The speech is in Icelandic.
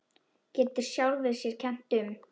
Getur sjálfri sér um kennt.